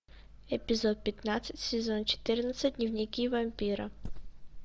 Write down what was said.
эпизод пятнадцать сезон четырнадцать дневники вампира